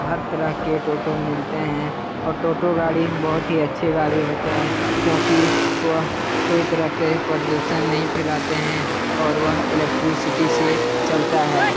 हर तरह के टोटों मिलते है और टोटों गाड़ी बहुत ही अच्छी गाड़ी होती है क्यूकी वह कोई तरह के प्रदूषण नहीं फेलाते है और वह इलेक्ट्रिसिटी से चलता है ।